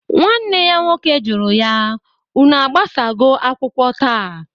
Nwanne ya nwoke juru ya, Unu agbasago akwụkwọ taa?